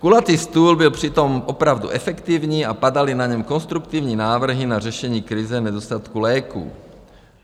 Kulatý stůl byl přitom opravdu efektivní a padaly na něm konstruktivní návrhy na řešení krize nedostatku léků.